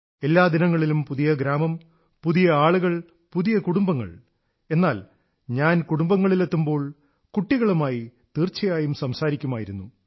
എല്ലാ ദിനങ്ങളിലും പുതിയ ഗ്രാമം പുതിയ ആളുകൾ പുതിയ കുടുംബങ്ങൾ എന്നാൽ ഞാൻ കുടുംബങ്ങളിലെത്തുമ്പോൾ കുട്ടികളുമായി തീർച്ചയായും സംസാരിക്കുമായിരുന്നു